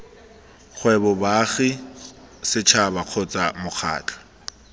kgwebo baagi setšhaba kgotsa mokgatlho